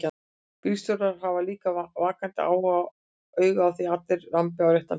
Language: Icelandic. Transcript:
Bílstjórarnir hafa líka vakandi auga á því að allir rambi á réttan bíl.